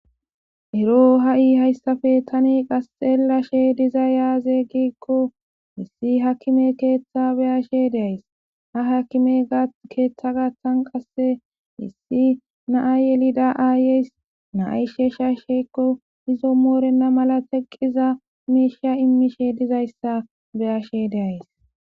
ero ha7i hayssafe tani qasxeellashe iisi modiza yaaze giikko issi hakime keeththa beyashe deays ha hakime keeththa gaththan qasse issi naa yelida aayeys naayshe sha sheykko izo moorenna mala teqqiza miisha immishe dizayssa beyashe deays